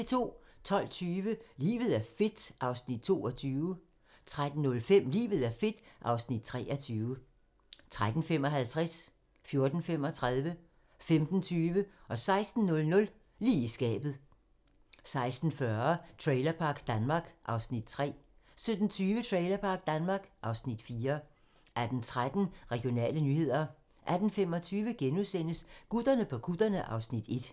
12:20: Livet er fedt (Afs. 22) 13:05: Livet er fedt (Afs. 23) 13:55: Lige i skabet 14:35: Lige i skabet 15:20: Lige i skabet 16:00: Lige i skabet 16:40: Trailerpark Danmark (Afs. 3) 17:20: Trailerpark Danmark (Afs. 4) 18:13: Regionale nyheder 18:25: Gutterne på kutterne (Afs. 1)*